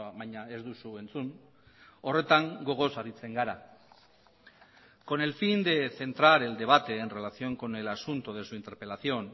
baina ez duzu entzun horretan gogoz aritzen gara con el fin de centrar el debate en relación con el asunto de su interpelación